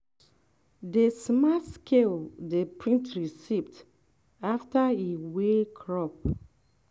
the smart scale dey print receipt after e weigh crop.